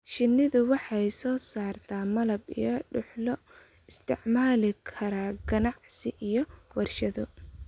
Shinnidu waxay soo saartaa malab iyo dhux loo isticmaali karo ganacsi iyo warshado.